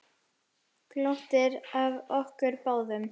Glottir að okkur báðum.